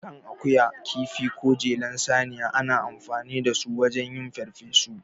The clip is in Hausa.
Kan akuya, kifi, ko jelar saniya, ana amfani da su wajen yin farfesu.